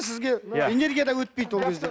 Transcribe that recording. сізге энергия да өтпейді ол кезде